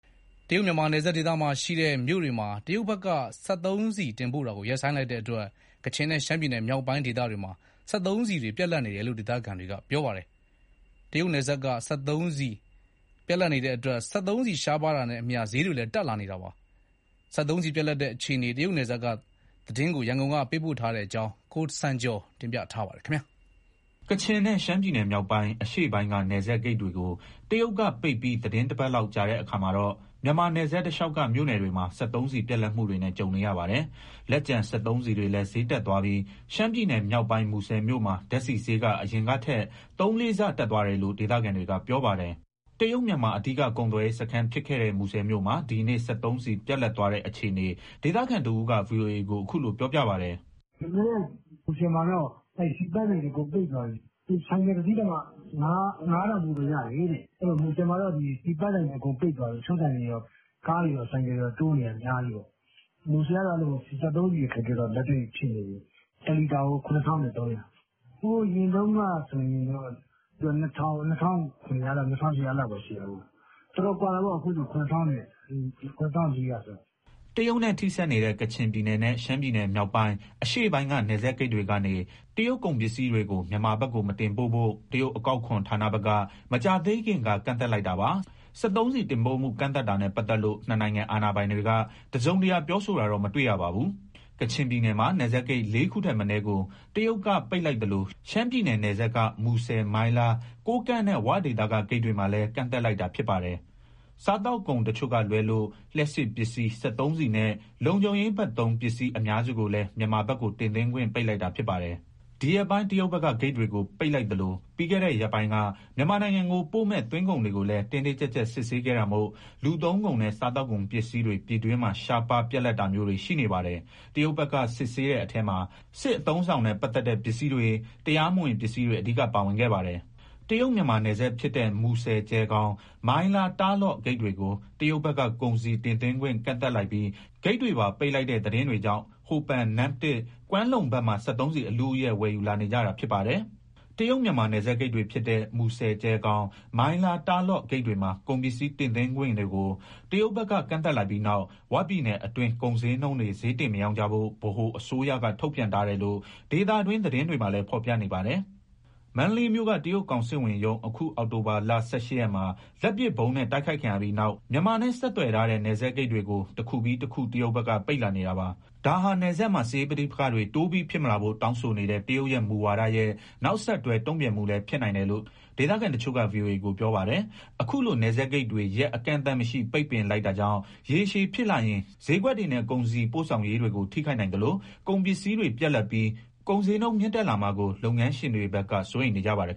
တရုတ်- မြန်မာနယ်စပ်ဒေသမှာရှိတဲ့ မြို့တွေကို စက်သုံးဆီ တင်ပို့တာကို တရုတ်ဘက်က ရပ်ဆိုင်းလိုက်တဲ့အတွက် ကချင်နဲ့ ရှမ်းပြည်နယ်မြောက်ပိုင်းမှာ စက်သုံးဆီတွေ ပြတ်လပ်နေတယ်လို့ ဒေသခံတွေက ပြောပါတယ်။ စက်သုံးဆီရှားပါးလာတာနဲ့အမျှ ဈေးတွေလည်း တက်လာနေတယ်လို့ ပြောပါတယ်။ တရုတ်ပြည်နယ်စပ်က စက်သုံးဆီပြတ်လပ်တဲ့ အခြေအနေ ရန်ကုန်ကနေ သတင်းပေးပို့ထားပါတယ်။ ကချင်နဲ့ ရှမ်းပြည်နယ်မြောက်ပိုင်း၊ အရှေ့ပိုင်းက နယ်စပ်ဂိတ်တွေကို တရုတ်ကပိတ်ပြီး သီတင်းတပတ်လောက် ကြာတဲ့အခါမှာတော့ မြန်မာနယ်စပ်တလျှောက်က မြို့နယ်တွေမှာ စက်သုံးဆီပြတ်လပ်မှုတွေနဲ့ ကြုံနေရပါတယ်။ လက်ကျန် စက်သုံးဆီတွေလည်း ဈေးတက်သွားပြီး ရှမ်းပြည်နယ်မြောက်ပိုင်း မူဆယ်မြို့မှာ ဓာတ်ဆီဈေးက အရင်ကထက် သုံးလေးဆ တက်သွားတယ်လို့ ဒေသခံတွေက ပြောပါတယ်။ တရုတ်-မြန်မာ အဓိက ကုန်သွယ်ရေးစခန်းဖြစ်ခဲ့တဲ့ မူဆယ်မြို့မှာ ဒီနေ့ စက်သုံးဆီပြတ်လပ်သွားတဲ့အခြေအနေ ဒေသခံတဦးက ဗွီအိုအေကို အခုလိုပြောပြပါတယ်။ "ဒီနေ့ မူဆယ်မှာ (ဆီ)ပန့်ဆိုင်တွေ အကုန်ပိတ်သွားပြီ။ ဆိုင်ကယ်တစီးတောင်မှ ၅ထောင်ဖိုးပဲ ရတယ်တဲ့။ အဲဒီတော့ မူဆယ်မှာ ဆီပန့်ဆိုင်တွေ အကုန်ပိတ်သွားပြီ၊ တချို့ဆိုင်တွေတော့ ကားတွေရော ဆိုင်ကယ်တွေရော တိုးနေတာ အများကြီးပဲ။ မူဆယ်ကတော့ စက်သုံးဆီအခက်အခဲ လက်တွေ့ဖြစ်နေတယ်၊ တလီတာကို ၇၃၀၀။ ဟိုအရင်တုန်းကဆိုရင် ၂,၀၀၀၊ ၂,၇၀၀၊ ၂,၈၀၀ ဒီလောက်ပဲရှိတာ။ တော်တော်ကွာတာပေါ့ အခုဆိုရင် ၇,၄၀၀ ကျော်။" တရုတ်နဲ့ထိစပ်နေတဲ့ ကချင်ပြည်နယ်နဲ့ ရှမ်းပြည်နယ်မြောက်ပိုင်း၊ အရှေ့ပိုင်းက နယ်စပ်ဂိတ်တွေကနေ တရုတ်ကုန်ပစ္စည်းတွေကို မတင်ပို့ဖို့ တရုတ်အကောက်အခွန် ဌာနဘက်က မကြာသေးခင်က ကန့်သတ်လိုက်တာပါ။ စက်သုံးဆီ တင်ပို့မှု ကန့်သတ်တာနဲ့ ပတ်သက်လို့ ၂ နိုင်ငံ အာဏာပိုင်တွေက တစုံတရာ ပြောဆိုတာတော့ မတွေ့ရပါဘူး။ ကချင်ပြည်နယ်မှာ နယ်စပ်ဂိတ် ၄ခုထက်မနည်းကို တရုတ်က ပိတ်လိုက်သလို ရှမ်းပြည်နယ်နယ်စပ်က မူဆယ်၊ မိုင်းလား၊ ကိုးကန့်နဲ့ 'ဝ'ဒေသက ဂိတ်တွေမှာလည်း ကန့်သတ်လိုက်တာ ဖြစ်ပါတယ်။ စားသောက်ကုန်တချို့ကလွဲလို့ လျှပ်စစ်ပစ္စည်း၊ စက်သုံးဆီနဲ့ လုံခြုံရေးဘက်သုံး ပစ္စည်းအများစုကိုလည်း မြန်မာဘက်ကို တင်သွင်းခွင့် ပိတ်လိုက်တာ ဖြစ်ပါတယ်။ ဒီရက်ပိုင်း တရုတ်ဘက်က ဂိတ်တွေကိုပိတ်လိုက်သလို ပြီးခဲ့တဲ့ရက်ပိုင်းက မြန်မာနိုင်ငံကိုပို့မဲ့ သွင်းကုန်တွေကို တင်းတင်ကြပ်ကြပ် စစ်ဆေးခဲ့တာမို့ လူသုံးကုန်နဲ့ စားသောက်ကုန်ပစ္စည်းတွေ ပြည်တွင်းမှာ ရှားပါး၊ ပြတ်လပ်တာမျိုးတွေ ရှိနေပါတယ်။ တရုတ်ဘက်က စစ်ဆေးတဲ့အထဲမှာ စစ်အသုံးအဆောင်နဲ့ ပတ်သက်တဲ့ ပစ္စည်းတွေ၊ တရားမဝင် ပစ္စည်းတွေ အဓိကပါဝင်ခဲ့ပါတယ်။ တရုတ် - မြန်မာ နယ်စပ်ဖြစ်တဲ့ မူဆယ် - ကျယ်ခေါင်၊ မိုင်းလား - တာ့လော့ဂိတ်တွေကို တရုတ်ဘက်က ကုန်စည်တင်သွင်းခွင့် ကန့်သတ်လိုက်ပြီး ဂိတ်တွေပါပိတ်လိုက်တဲ့သတင်းတွေကြောင့် ဟိုပန်၊ နမ့်တစ်၊ ကွမ်းလုံဘက်မှာ စက်သုံးဆီ အလုအယက် ဝယ်ယူလာနေကြတာဖြစ်ပါတယ်။ တရုတ် - မြန်မာ နယ်စပ်ဂိတ်တွေဖြစ်တဲ့ မူဆယ် - ကြယ်ခေါင်၊ မိုင်းလား - တာ့လောဂိတ်တွေမှာ ကုန်ပစ္စည်း တင်သွင်းခွင့်တွေကို တရုတ်ဘက်က ကန့်သတ်လိုက်ပြီးနောက် "ဝ" ပြည်နယ်အတွင်း ကုန်ဈေးနှုန်းတွေ ဈေးတင်မရောင်းကြဖို့ ဗဟိုအစိုးရက ထုတ်ပြန်ထားတယ်လို့ ဒေသတွင်း သတင်းတွေမှာလည်း ဖော်ပြနေပါတယ်။ မန္တလေးမြို့က တရုတ်ကောင်စစ်ဝန်ရုံး အခုအောက်တိုဘာလ ၁၈ရက်မှာ လက်ပစ်ဗုံးနဲ့ တိုက်ခိုက်ခံရပြီးနောက် မြန်မာနဲ့ ဆက်သွယ်ထားတဲ့ နယ်စပ်ဂိတ်တွေကို တခုပြီးတခု တရုတ်ဘက်က ပိတ်လာနေတာပါ။ ဒါဟာ နယ်စပ်မှာ စစ်ရေးပဋိပက္ခတွေ တိုးပြီးဖြစ်မလာဖို့ တောင်းဆိုနေတဲ့ တရုတ်ရဲ့ မူဝါရဲ့ နောက်ဆက်တွဲ တုံ့ပြန်မှုလည်း ဖြစ်နိုင်တယ်လို့ ဒေသခံတချို့က ဗွီအိုအေကို ပြောပါတယ်။ အခုလို နယ်စပ်ဂိတ်တွေ ရက်အကန့်အသတ်မရှိ ပိတ်ပင်လိုက်တာကြောင့် ရေရှည်ဖြစ်လာရင် ဈေးကွက်တွေနဲ့ ကုန်စည်ပို့ဆောင်ရေးတွေကို ထိခိုက်နိုင်သလို ကုန်ပစ္စည်းတွေပြတ်လပ်ပြီး ကုန်ဈေးနှုန်း မြင့်တက်လာမှာကို လုပ်ငန်းရှင်တွေဘက်က စိုးရိမ်နေကြပါတယ်